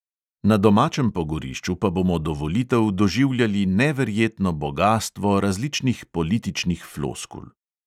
Na domačem pogorišču pa bomo pa do volitev doživljali neverjetno bogastvo raznih političnih floskul.